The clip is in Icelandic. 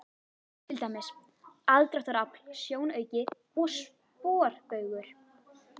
Til dæmis: aðdráttarafl, sjónauki og sporbaugur.